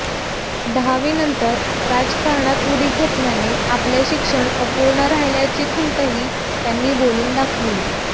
दहावीनंतर राजकारणात उडी घेतल्याने आपले शिक्षण अपूर्ण राहिल्याची खंतही त्यांनी बोलून दाखवली